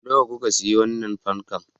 Nawa kuka sayi wannan fankan?